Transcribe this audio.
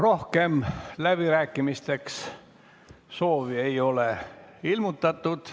Rohkem läbirääkimisteks soovi ei ole ilmutatud.